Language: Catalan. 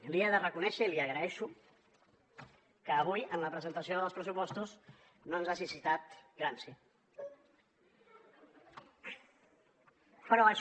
li he de reconèixer i l’hi agraeixo que avui en la presentació dels pressupostos no ens hagi citat gramsci